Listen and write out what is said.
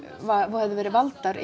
höfðu verið valdar